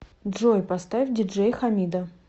джой поставь диджей хамида